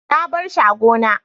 na barshi a gona